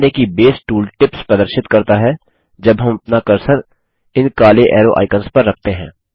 ध्यान दें कि बेस टूल टिप्स प्रदर्शित करता है जब हम अपना कर्सर इन काले एरो आइकन्स पर रखते हैं